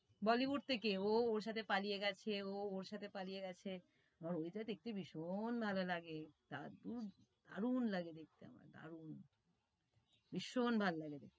Bollywood থেকে ও, ওর সাথে পালিয়ে গেছে, ও ওর সাথে পালিয়ে গেছে। ওইটা দেখতে ভীষণ ভালো লাগে, দারুন, দারুন লাগে দেখতে আমার দারুন ভীষণ ভাল লাগে,